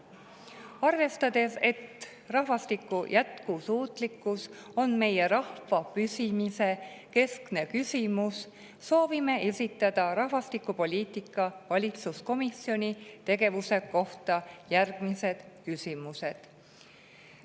Arvestades, et rahvastiku jätkusuutlikkus on meie rahva püsimise keskne küsimus, soovime esitada rahvastikupoliitika valitsuskomisjoni tegevuse kohta järgmised küsimused.